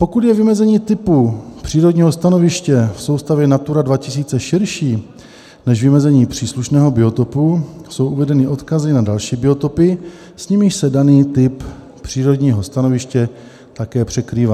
Pokud je vymezení typu přírodního stanoviště v soustavě Natura 2000 širší než vymezení příslušného biotopu, jsou uvedeny odkazy na další biotopy, s nimiž se daný typ přírodního stanoviště také překrývá.